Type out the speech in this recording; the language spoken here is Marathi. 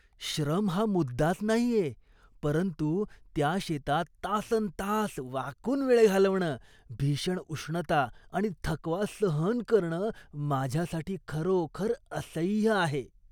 श्रम हा मुद्दाच नाहीये, परंतु त्या शेतात तासन्तास वाकून वेळ घालवणं, भीषण उष्णता आणि थकवा सहन करणं, माझ्यासाठी खरोखर असह्य आहे.